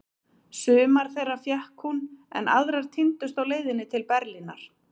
Sumar þeirra fékk hún, en aðrar týndust á leiðinni til Berlínar.